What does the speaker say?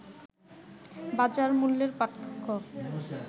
বাজার মূল্যের পার্থক্য